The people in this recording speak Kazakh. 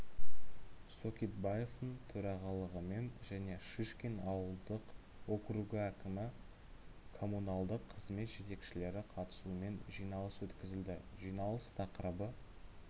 сокитбаевтың төрағалығымен және шишкин ауылдық округі әкімі коммуналдық қызмет жетекшілері қатысуымен жиналыс өткізілді жиналыс тақырыбы